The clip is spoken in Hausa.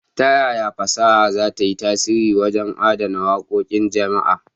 Ta yaya fasaha za ta yi tasiri wajen adana waƙoƙin jama'a?